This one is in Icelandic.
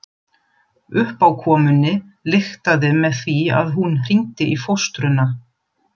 Uppákomunni lyktaði með því að hún hringdi í fóstruna.